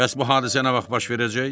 Bəs bu hadisə nə vaxt baş verəcək?